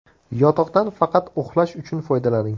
Yotoqdan faqat uxlash uchun foydalaning.